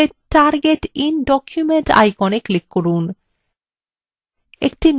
dialog বক্সের মধ্যে target in document icon এ click করুন